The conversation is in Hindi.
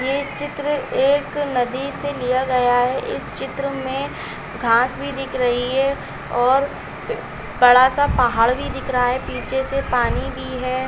ये चित्र एक नदी से लिया गया है इस चित्र में घास भी दिख रही है और प बड़ा सा पहाड़ भी है पीछे से पानी भी है।